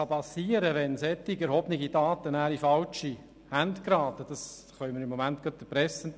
Was geschehen kann, wenn solche erhobenen Daten in falsche Hände geraten, können wir gegenwärtig der Presse entnehmen.